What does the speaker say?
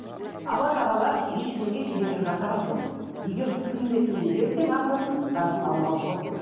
алла тағала ешкімге кедергі жасаған жоқ егер сый ретінде берсең ағзасын барлығын алуға болады деген